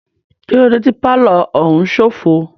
Kílódé tí pálọ̀ òún ṣófo?